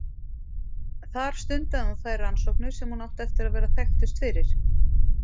Þar stundaði hún þær rannsóknir sem hún átti eftir að vera þekktust fyrir.